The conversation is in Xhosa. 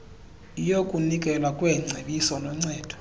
yokunikelwa kweengcebiso noncedo